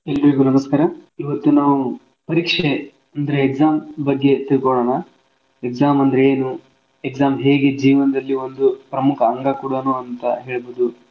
ಎಲ್ರಿಗೂ ನಮಸ್ಕಾರ, ಇವತ್ತು ನಾವು ಪರೀಕ್ಷೆ ಅಂದ್ರೆ exam ಬಗ್ಗೆ ತಿಳ್ಕೋಳೋಣ. exam ಅಂದ್ರೆ ಏನು exam ಹೇಗೆ ಜೀವನ್ದಲ್ಲಿ ಒಂದು ಪ್ರಮುಖ ಅಂಗ ಕೂಡನೂ ಅಂತ ಹೇಳ್ಬೌದು.